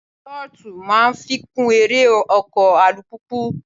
Túrọ́tù máa ń fikùn eré ọkọ̀ alùpùpù.